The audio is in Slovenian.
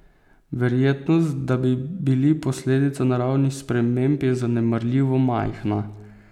Verjetnost, da bi bili posledica naravnih sprememb, je zanemarljivo majhna.